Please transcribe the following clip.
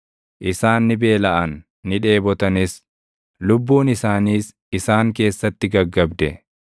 Isaan ni beelaʼan; ni dheebotanis; lubbuun isaaniis isaan keessatti gaggabde.